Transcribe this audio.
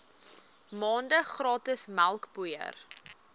maande gratis melkpoeier